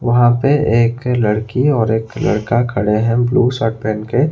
वहां पे एक लड़की और एक लड़का खड़े हैं ब्लू शर्ट पेहेन के।